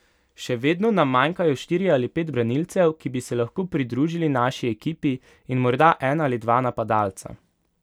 Še vedno nam manjkajo štirje ali pet branilcev, ki bi se lahko pridružili naši ekipi, in morda en ali dva napadalca.